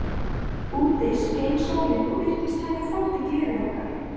Úti skein sólin og virtist taka þátt í gleði okkar.